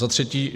Za třetí.